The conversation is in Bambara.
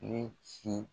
Ne si